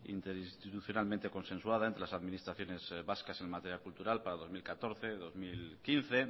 interinstitucionalmente consensuada entre las administraciones vascas en materia cultural para dos mil catorce dos mil quince